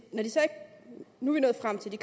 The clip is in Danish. det